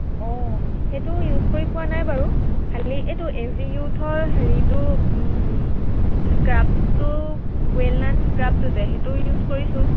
আহ সেইটো use কৰি পোৱা নাই বাৰু। খালি এইটো এভিয়ুথৰ হেৰিটো উম scrub টো, ৱেলনাট scrub টো যে সেইটো use কৰিছো